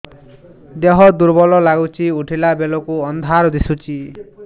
ଦେହ ଦୁର୍ବଳ ଲାଗୁଛି ଉଠିଲା ବେଳକୁ ଅନ୍ଧାର ଦିଶୁଚି